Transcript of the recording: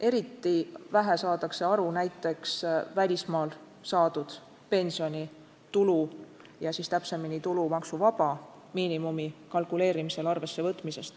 Eriti vähe saadakse aru näiteks välismaal saadud pensionitulu tulumaksuvaba miinimumi kalkuleerimisel arvesse võtmisest.